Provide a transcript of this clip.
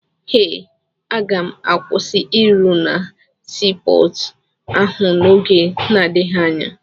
Eh, aga m akwụsị ịrụ na sii pọọtụ ahụ n'oge na-adịghị anya.